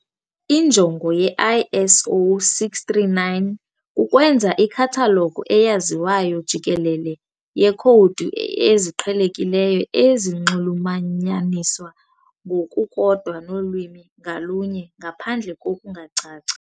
Injongo ye-ISO 639 kukwenza ikhathalogu eyaziwayo jikelele yeekhowudi eziqhelekileyo ezinxulumanyaniswa ngokukodwa nolwimi ngalunye ngaphandle kokungacaci.